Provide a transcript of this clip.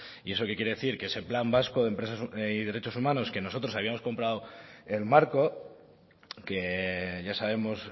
y eso qué quiere decir que ese plan vasco de empresas y derechos humanos que nosotros habíamos comprado el marco que ya sabemos